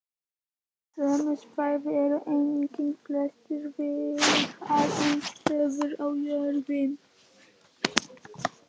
Á sömu svæðum eru einnig flestar virkar eldstöðvar á jörðinni.